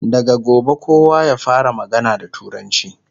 daga gobe kowa ya fara magana da turanci!